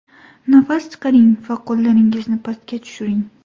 Nafas chiqaring va qo‘llaringizni pastga tushiring.